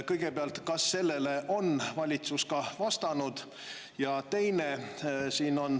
Kõigepealt, kas valitsus on sellele ka vastanud?